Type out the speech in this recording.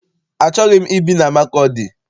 Achọghị m ibi na Makọdị.